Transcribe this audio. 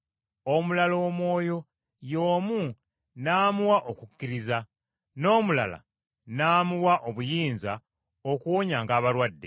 Omulala Omwoyo y’omu n’amuwa okukkiriza, n’omulala n’amuwa obuyinza okuwonyanga abalwadde.